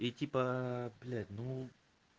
и типа блять ну